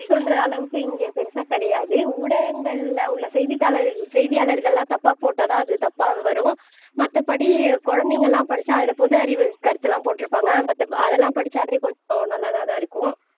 சொல்ற அளவுக்கு இங்க பெருசா கிடையாது ஊடகங்களில உள்ள செய்தித்தாள் செய்தியாளர்கள் எல்லாம் தப்பாக போட்டா தான் அது தப்பா வரும் மத்தபடி குழந்தைங்க எல்லாம் படிச்சா அதுல பொது அறிவு கருத்தெல்லாம் போட்டிருப்பாங்க அதெல்லாம் படிச்சாலே கொஞ்சம் நல்லதாத்தான் இருக்கும்